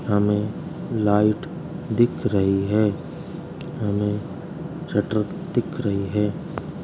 हमें लाइट दिख रही है हमें शटर दिख रही है।